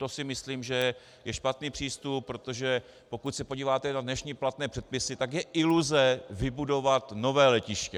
To si myslím, že je špatný přístup, protože pokud se podíváte na dnešní platné předpisy, tak je iluze vybudovat nové letiště.